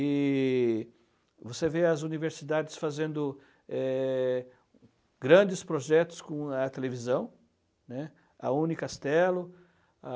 E você vê as universidades fazendo, eh, grandes projetos com a televisão, né, a Unicastelo, a